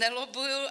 Nelobbuji.